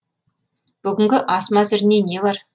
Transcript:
бүгінгі ас мәзіріне не бар